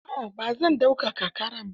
A'a ba zan daukaka ƙarar ba.